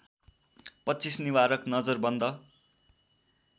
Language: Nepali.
२५ निवारक नजरबन्द